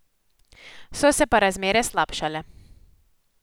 So se pa razmere slabšale.